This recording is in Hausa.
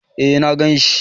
Eh na ganshi